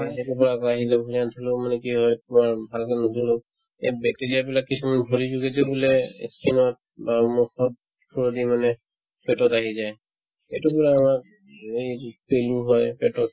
এই সেইটোৰ পৰা আকৌ আহিলো ভৰি হাত ধুলেও মানে কি হয় বা ভালকে নুধুলেও এই bacteria বিলাক কিছুমান ভৰিৰ যোগেদিও বোলে ই skin ত বা মুখত through দি মানে পেটত আহি যায় এইটোৰ পৰায়ে আমাৰ এই যি পেলু হয় পেটত